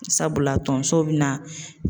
Sabula tonso bina